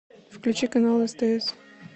включи канал стс